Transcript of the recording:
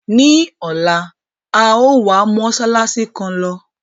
Ní ọ̀la, a yòó wa mósálásí kan lọ.